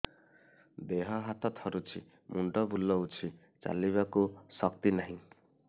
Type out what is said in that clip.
ଦେହ ହାତ ଥରୁଛି ମୁଣ୍ଡ ବୁଲଉଛି ଚାଲିବାକୁ ଶକ୍ତି ନାହିଁ